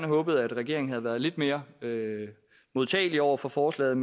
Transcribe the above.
håbet at regeringen havde været lidt mere modtagelig over for forslaget